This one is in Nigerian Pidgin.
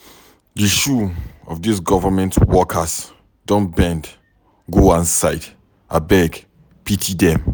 Di shoe of these government workers don bend go one side, abeg pity dem.